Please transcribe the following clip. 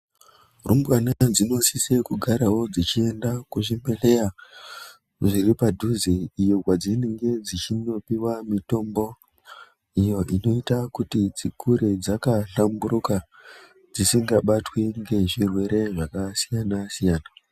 Rumbwana dzino sise kugarawo dzichi enda ku zvibhedhleya zviri padhuze iyo kwa dzinenge dzichino piwa mitombo iyo inoita kuti dzikure dzaka hlamburuka dzisinga batwi nge zvirwere zvaka siyana siyana.